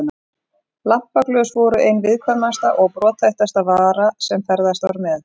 Lampaglös voru ein viðkvæmasta og brothættasta vara sem ferðast var með.